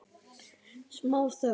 Smá þögn.